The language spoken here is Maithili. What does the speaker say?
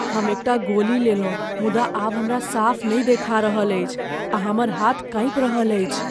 हम एकटा गोली लेलहुँ मुदा आब हमरा साफ नहि देखा रहल अछि आ हमर हाथ काँपि रहल अछि।